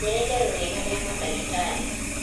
njĩĩra ĩtherũ riega ria madagitari